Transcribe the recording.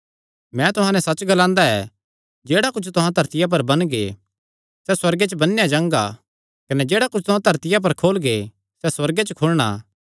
मैं तुहां नैं सच्च ग्लांदा ऐ जेह्ड़ा कुच्छ तुहां धरतिया पर बन्नगे सैह़ सुअर्गे च बन्नेया जाणा कने जेह्ड़ा कुच्छ तुहां धरतिया पर खोलगे सैह़ सुअर्गे च खुलणा